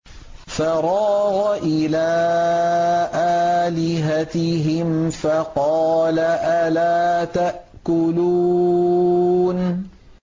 فَرَاغَ إِلَىٰ آلِهَتِهِمْ فَقَالَ أَلَا تَأْكُلُونَ